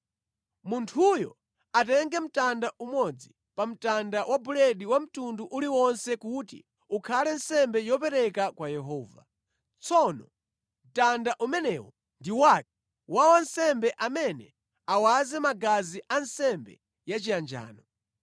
Munthuyo atenge mtanda umodzi pa mtanda wa buledi wa mtundu uliwonse kuti ukhale nsembe yopereka kwa Yehova. Tsono mtanda umenewo ndi wake wa wansembe amene awaze magazi a nsembe yachiyanjano.